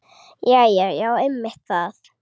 Jæja já, einmitt það.